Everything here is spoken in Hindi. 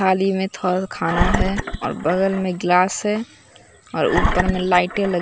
थाली में थोड़ा खाना है और बगल में गिलास है और ऊपर में लाइटें ल--